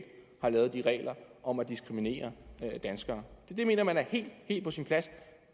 har lavet de regler om at diskriminere danskere så det mener man er helt helt på sin plads